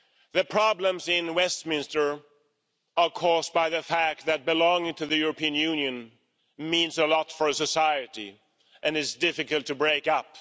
The problems in Westminster are caused by the fact that belonging to the European Union means a lot for a society and it is difficult to break up.